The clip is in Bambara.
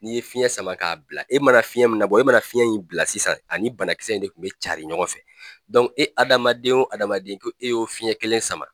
N'i ye fiɲɛ sama k'a bila, e mana fiɲɛ min labɔ, e mana fiɲɛ in bila sisan ani banakisɛ in de kun bɛ carin ɲɔgɔn fɛ e adamaden o adamaden ko e y'o fiɲɛ kelen sama